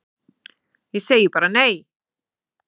Ég segi bara nei!